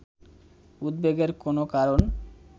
উদ্বেগের কোনও কারণ